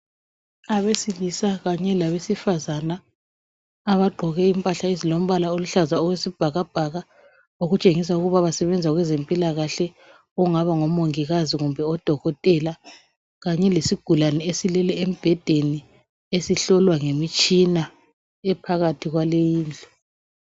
Abesilisa kanye labesifazana abagqoke impahla ezilombala oluhlaza okwesibhakabhaka okutshengisa ukuba basebenza kwezempilakahle okungaba ngomongikazi kumbe odokotela kanye lesigulane esilele embhedeni esihlolwa ngemitshina ephakathi kwaleyindlu.